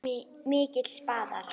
Miklir spaðar.